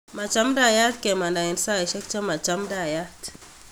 Machamdaiyat kemanda en saishek chemachamndayat